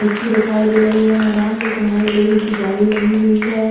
मिट्टी दिखाई दे रही है मैदान के किनारे लोहे की जाली लगी हुई है।